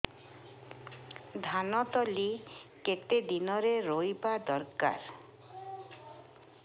ଧାନ ତଳି କେତେ ଦିନରେ ରୋଈବା ଦରକାର